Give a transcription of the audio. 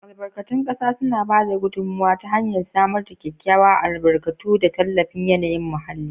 Albarkatun ƙasa suna ba da gudummawa ta hanyar samar da kyakkyawa, albarkatu, da tallafin yanayin muhalli.